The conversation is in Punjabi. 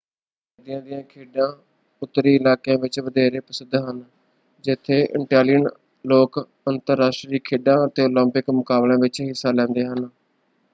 ਸਰਦੀਆਂ ਦੀਆਂ ਖੇਡਾਂ ਉੱਤਰੀ ਇਲਾਕਿਆਂ ਵਿੱਚ ਵਧੇਰੇ ਪ੍ਰਸਿੱਧ ਹਨ ਜਿੱਥੇ ਇਟੈਲੀਅਨ ਲੋਕ ਅੰਤਰਰਾਸ਼ਟਰੀ ਖੇਡਾਂ ਅਤੇ ਓਲੰਪਿਕ ਮੁਕਾਬਲਿਆਂ ਵਿੱਚ ਹਿੱਸਾ ਲੈਂਦੇ ਹਨ।